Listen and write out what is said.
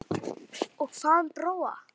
Og hvað um Bróa?